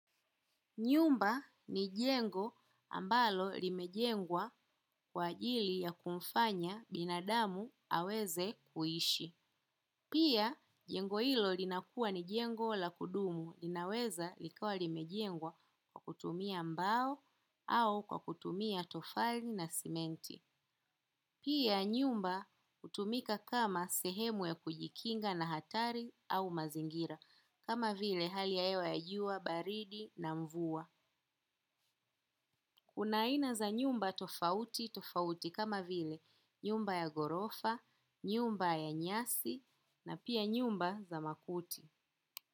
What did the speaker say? Nyumba ni jengo ambalo limejengwa kwa ajili ya kumfanya binadamu aweze kuishi. Pia jengo hilo linakuwa ni jengo la kudumu linaweza likawa limejengwa kwa kutumia mbao au kwa kutumia tofali na sementi. Pia nyumba utumika kama sehemu ya kujikinga na hatari au mazingira kama vile hali ya hewa ya jua baridi na mvua. Kuna aina za nyumba tofauti tofauti kama vile nyumba ya ghorofa, nyumba ya nyasi na pia nyumba za makuti.